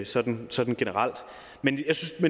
sådan sådan generelt men